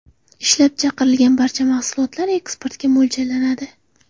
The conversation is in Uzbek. Ishlab chiqarilgan barcha mahsulot eksportga mo‘ljallanadi.